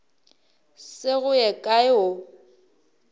se go ye kae o